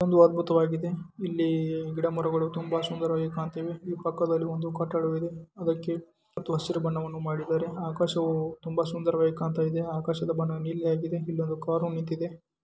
ಒಂದು ಅದ್ಭುತವಾಗಿದೆ ಇಲ್ಲಿ ಗಿಡಮರಗಳು ತುಂಬಾ ಸುಂದರವಾಗಿ ಕಾಣ್ತಿವೇ ಪಕ್ಕದಲ್ಲಿ ಒಂದು ಕಟ್ಟಡವಿದೆ ಅದಕ್ಕೆ ಹಸಿರು ಬಣ್ಣವನ್ನು ಮಾಡಿದ್ದಾರೆ ಆಕಾಶವು ತುಂಬಾ ಸುಂದರವಾಗಿ ಕಾಣತ್ತಾಯಿದೆ ಆಕಾಶದ ಬಣ್ಣ ನೀಲಿ ಆಗಿದೆ ಇಲ್ಲಿ ಒಂದು ಕಾರು ನಿಂತಿದೆ.